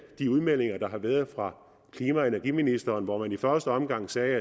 de udmeldinger der har været fra klima og energiministeren i første omgang sagde